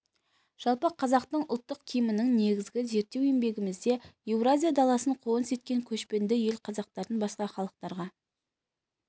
жалпы қазақтың ұлттық киімінің негізі зерттеу еңбегімізде еуразия даласын қоныс еткен көшпенді ел қазақтардың басқа халықтарға